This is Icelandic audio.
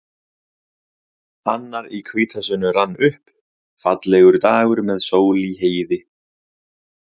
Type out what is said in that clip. Annar í hvítasunnu rann upp, fallegur dagur með sól í heiði.